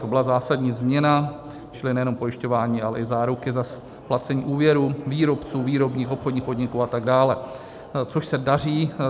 To byla zásadní změna, čili nejenom pojišťování, ale i záruky za splacení úvěrů výrobců, výrobních, obchodních podniků atd., což se daří.